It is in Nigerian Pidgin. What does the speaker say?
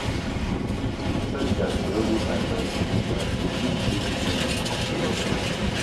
Some times spiritual leaders fit advice on di kind of job wey person wan do if e dey legal